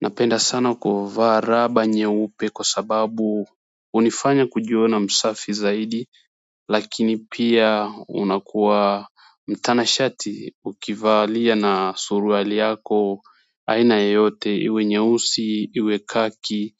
Napenda sana kuvaa raba nyeupe kwa sababu hunifanya kujiona msafi zaidi lakini pia unakuwa mtanashati ukivalia na suruali yako aina yeyote iwe nyeusi iwe khaki